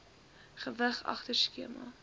gewig agter skema